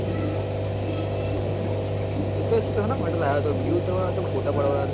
એ તો શિક હેના માટે લાયો હતો video ઉતારવા લયોતો કે photo પાડવા લાયો